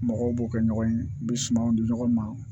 Mɔgɔw b'o kɛ ɲɔgɔn ye n bɛ sumanw di ɲɔgɔn ma